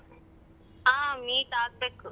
ಹ meet ಆಗ್ಬೇಕು.